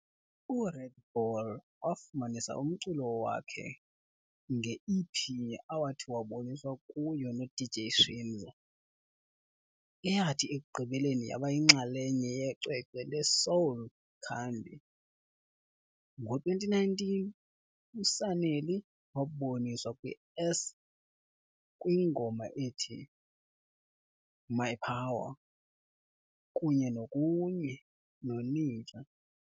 URed Bull wafumanisa umculo wakhe nge-EP awathi waboniswa kuyo no-DJ Shimza, eyathi ekugqibeleni yaba yinxalenye yecwecwe leSoul Candi. Ngo-2019, uSanelly waboniswa kwi-s kwingoma ethi- "My Power" kunye no kunye noNija.